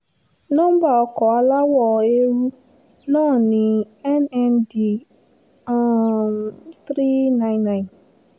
nọ́ńbà ọkọ̀ aláwọ̀ eérú náà ni nnd um three nine nine